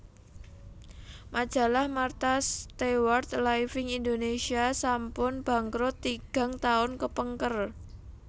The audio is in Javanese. Majalah Martha Stewart Living Indonesia sampun bangkrut tigang tahun kepengker